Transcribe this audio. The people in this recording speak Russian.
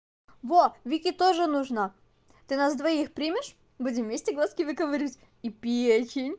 во вике тоже нужна ты нас двоих примешь будем вместе глазки выковыривать и печень